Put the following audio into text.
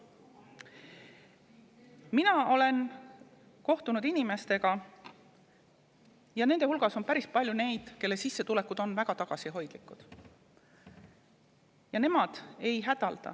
Mina olen kohtunud inimestega, kelle hulgas on päris palju neid, kelle sissetulekud on väga tagasihoidlikud, aga nad ei hädalda.